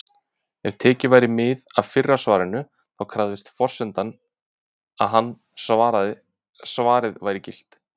Ef tekið væri mið af fyrra svarinu, þá krefðist forsendan að seinna svarið væri gilt.